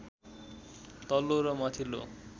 तल्लो र माथिल्लो